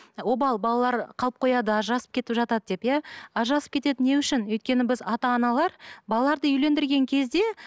обал балалар қалып қояды ажырасып кетіп жатады деп иә ажырасып кетеді не үшін өйткені біз ата аналар балаларды үйлендірген кезде